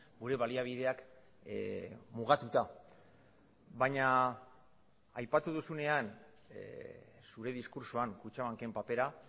gure baliabideak mugatuta baina aipatu duzunean zure diskurtsoan kutxabanken papera